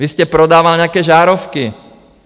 Vy jste prodával nějaké žárovky.